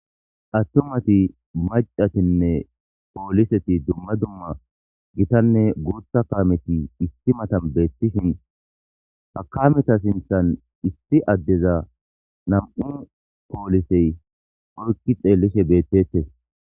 attumati macatinne pooliseti dumma dumma gitanne guutha kameti isti matan beettishin ha kameta sinthan isti addeza nam7u poolisey orki xeellishe beettettes.